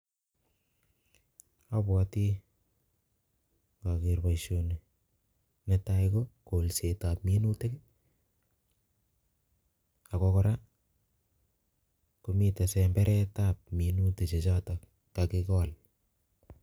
Abwoti ng'ager boisoni, netai ko golsetab minutik. Ago kora komitei semberetab minutik chechotok kagigol.